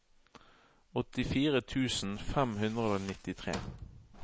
åttifire tusen fem hundre og nittitre